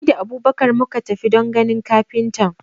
Ni da Abubakar muka tafi don ganin kafintan.